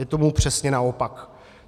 Je tomu přesně naopak.